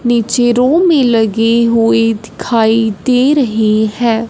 नीचे रॉ में लगे हुए दिखाई दे रहे हैं।